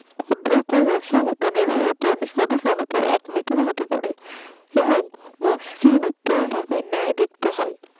এবং মসৃণ নেয় দেখতে হয়